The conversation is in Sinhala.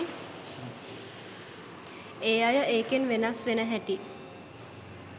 ඒ අය ඒකෙන් වෙනස් වෙන හැටි